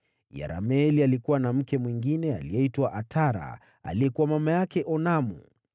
Yerameeli alikuwa na mke mwingine, aliyeitwa Atara, aliyekuwa mama yake Onamu.